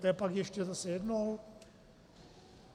To je pak ještě zase jednou?